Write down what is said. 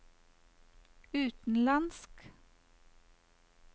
utenlandsk